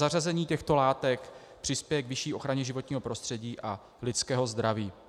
Zařazení těchto látek přispěje k vyšší ochraně životního prostředí a lidského zdraví.